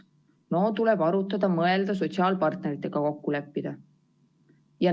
Noh, tuleb arutada, mõelda, sotsiaalpartneritega kokku leppida.